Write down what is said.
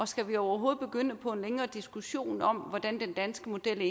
skal vi overhovedet begynde på en længere diskussion om hvordan den danske model